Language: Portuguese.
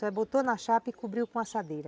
Só botou na chapa e cobriu com a assadeira.